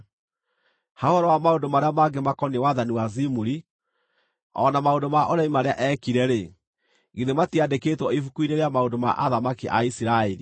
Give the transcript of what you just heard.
Ha ũhoro wa maũndũ marĩa mangĩ makoniĩ wathani wa Zimuri, o na maũndũ ma ũremi marĩa eekire-rĩ, githĩ matiandĩkĩtwo ibuku-inĩ rĩa maũndũ ma athamaki a Isiraeli?